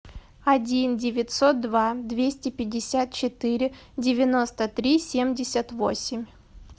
один девятьсот два двести пятьдесят четыре девяносто три семьдесят восемь